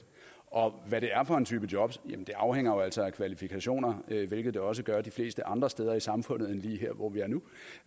og hvad det er for en type jobs jamen det afhænger jo altså af kvalifikationer hvilket det også gør de fleste andre steder i samfundet end lige her hvor vi er nu